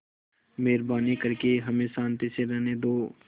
मेहरबानी करके हमें शान्ति से रहने दो